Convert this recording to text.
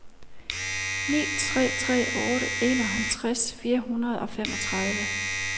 ni tre tre otte enoghalvtreds fire hundrede og femogtredive